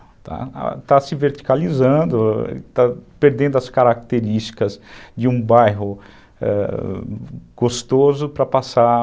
Está se verticalizando, está perdendo as características de um bairro, ãh, gostoso para passar...